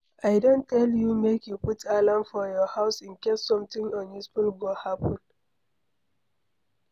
I don tell you make you put alarm for your house in case something unusual go happen.